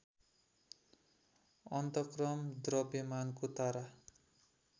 अन्तक्रम द्रव्यमानको तारा